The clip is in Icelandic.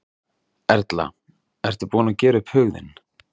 Erla: Ertu búinn að gera upp hug þinn?